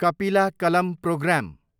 कपिला कलम प्रोग्राम